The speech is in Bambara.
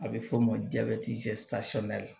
A bɛ f'o ma jabɛti